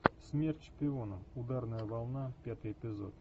смерть шпионам ударная волна пятый эпизод